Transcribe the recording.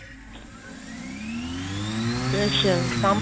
ਅੱਛਾ ਕੰਮ